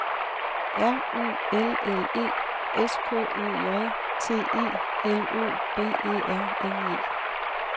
R U L L E S K Ø J T E L Ø B E R N E